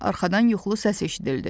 Arxadan yuxulu səs eşidildi.